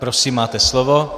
Prosím, máte slovo.